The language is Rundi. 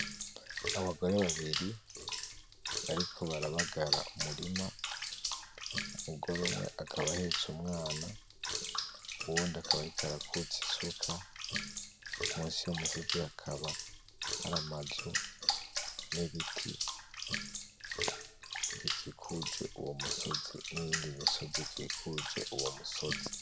Abagore babiri bariko barabagara umurima umugore umwe akaba ahetse umwana uwundi akaba ariko arakutsa isuka munsi y'umusozi hakaba hari amazu n'ibiti bikikuje uwo musozi n'iyindi misozi ikikuje uwo musozi.